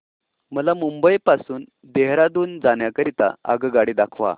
मला मुंबई पासून देहारादून जाण्या करीता आगगाडी दाखवा